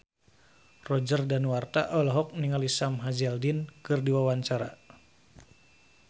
Roger Danuarta olohok ningali Sam Hazeldine keur diwawancara